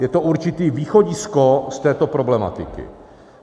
Je to určité východisko z této problematiky.